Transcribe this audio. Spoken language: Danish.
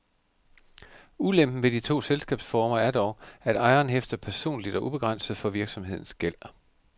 Ulempen ved de to selskabsformer er dog, at ejeren hæfter personligt og ubegrænset for virksomhedens gæld.